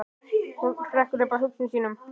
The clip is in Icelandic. Hún hrekkur upp af hugsunum sínum.